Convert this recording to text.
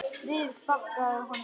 Friðrik þakkaði honum fyrir.